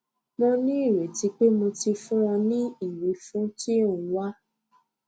mo ní ireti pé mo ti fún ọ ní ìwífún tí o ń wá